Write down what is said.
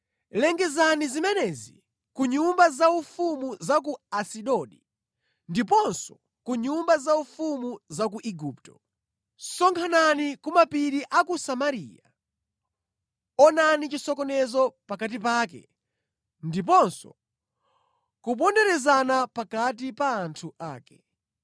Lengezani zimenezi ku nyumba zaufumu za ku Asidodi ndiponso ku nyumba zaufumu za ku Igupto: “Sonkhanani ku mapiri a ku Samariya; onani chisokonezo pakati pake ndiponso kuponderezana pakati pa anthu ake.”